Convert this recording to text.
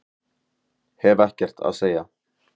Hef ekkert að segja